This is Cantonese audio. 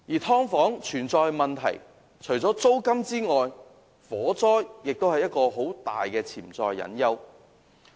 租金問題以外，火災對"劏房"來說是一個很大的潛在隱憂。